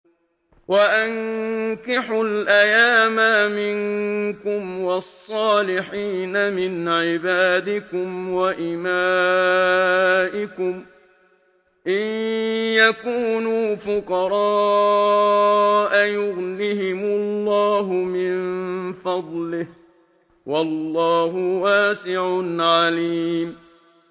وَأَنكِحُوا الْأَيَامَىٰ مِنكُمْ وَالصَّالِحِينَ مِنْ عِبَادِكُمْ وَإِمَائِكُمْ ۚ إِن يَكُونُوا فُقَرَاءَ يُغْنِهِمُ اللَّهُ مِن فَضْلِهِ ۗ وَاللَّهُ وَاسِعٌ عَلِيمٌ